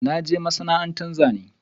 I na je masana'anta Zane.